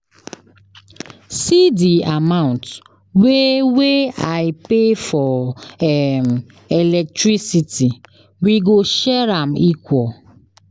See di amount wey wey I pay for um electricity, we go share am equal.